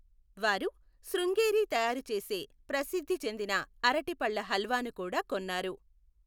వారు శృంగేరి తయారు చేసే ప్రసిద్ధి చెందిన అరటిపళ్ళ హల్వాను కూడా కొన్నారు.